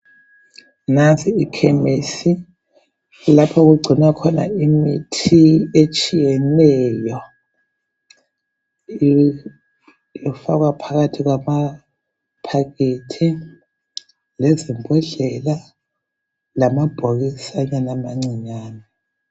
Nansi ikhemesi kulapha okugcinwakhona imithi etshiyeneyo ifakwa phakathi kwamaphakethi lezimbondlela lamabhokisi amancinyane.